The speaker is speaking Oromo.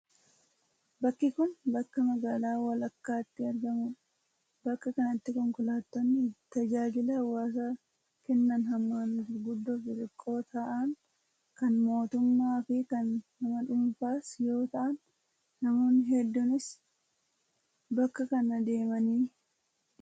Bakki kun, bakka magaalaa walakkaatti argamuu dha. Bakka kanatti konkolaatonni tajaajila hawaasaa kennan hammaan guguddoo fi xixiqqoo ta'an kan mootummaa fi kan nama dhuunfaas yoo ta'an, namoonni hedduunis bakka kana deemaa ni jiru.